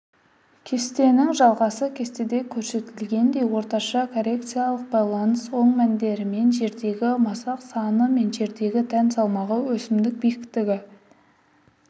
кестенің жалғасы кестеде көрсетілгендей орташа корреляциялық байланыс оң мәндерімен жердегі масақ саны мен жердегі дән салмағы өсімдік биіктігі